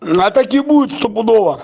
она так и будет стопудово